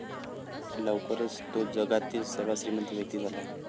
लवकरच तो जगातील सर्वात श्रीमंत व्यक्ती झाला.